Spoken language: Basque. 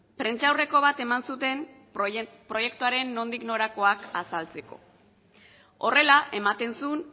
prentsaurreko bat eman zuten proiektuaren nondik norakoak azaltzeko horrela ematen zuen